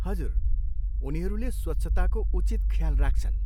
हजुर, उनीहरूले स्वच्छताको उचित ख्याल राख्छन्।